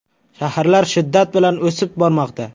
Shaharlar shiddat bilan o‘sib bormoqda.